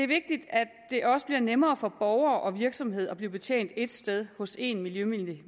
vigtigt at det også bliver nemmere for borgere og virksomheder at blive betjent et sted hos en miljømyndighed